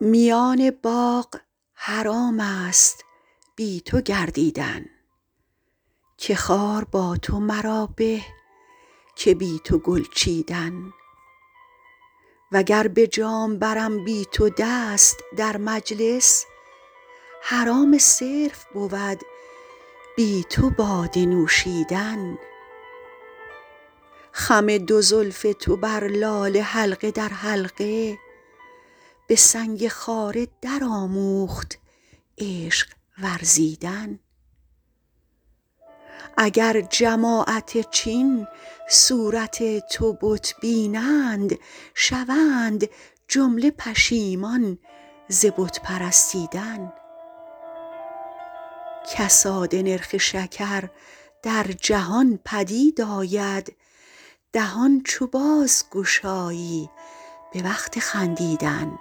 میان باغ حرام است بی تو گردیدن که خار با تو مرا به که بی تو گل چیدن و گر به جام برم بی تو دست در مجلس حرام صرف بود بی تو باده نوشیدن خم دو زلف تو بر لاله حلقه در حلقه به سنگ خاره درآموخت عشق ورزیدن اگر جماعت چین صورت تو بت بینند شوند جمله پشیمان ز بت پرستیدن کساد نرخ شکر در جهان پدید آید دهان چو بازگشایی به وقت خندیدن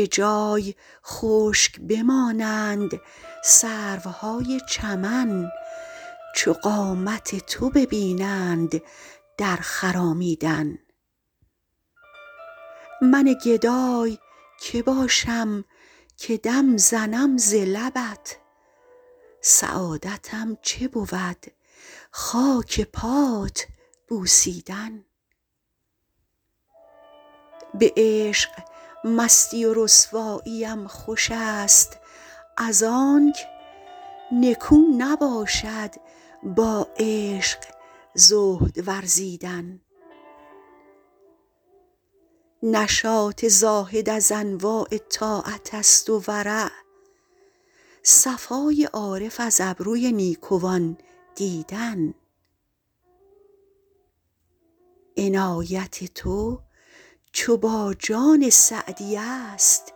به جای خشک بمانند سروهای چمن چو قامت تو ببینند در خرامیدن من گدای که باشم که دم زنم ز لبت سعادتم چه بود خاک پات بوسیدن به عشق مستی و رسواییم خوش است از آنک نکو نباشد با عشق زهد ورزیدن نشاط زاهد از انواع طاعت است و ورع صفای عارف از ابروی نیکوان دیدن عنایت تو چو با جان سعدی است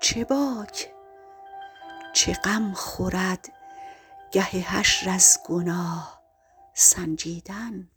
چه باک چه غم خورد گه حشر از گناه سنجیدن